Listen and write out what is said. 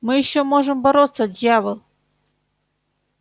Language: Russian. мы ещё можем бороться дьявол